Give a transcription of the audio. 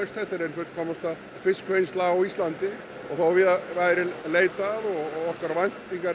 þetta er ein fullkomnasta fiskvinnsla á Íslandi og þó víðar væri leitað og okkar væntingar